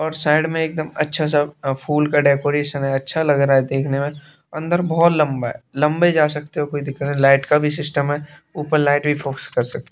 और साइड में एकदम अच्छा सा अ फूल का डेकोरेशन है अच्छा लग रहा है देखने में अंदर बहुत लंबा है लंबे जा सकते हो कोई दिक्कत नहीं लाइट का भी सिस्टम है ऊपर लाइट भी फोकस कर सकते --